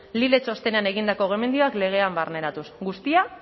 lile txostenean egindako gomendioak legean barneratuz guztia